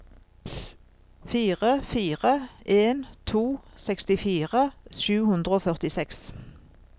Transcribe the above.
fire fire en to sekstifire sju hundre og førtiseks